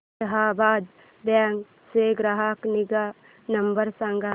Allahabad bank चा ग्राहक निगा नंबर सांगा